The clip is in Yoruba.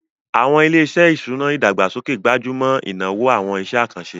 Àwọn ilé-iṣẹ́ ìṣúná ìdàgbàsókè gbájú mọ́ ìnáwó àwọn iṣẹ́ àkànṣe